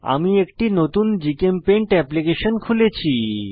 আমি একটি নতুন জিচেমপেইন্ট এপ্লিকেশন খুলেছি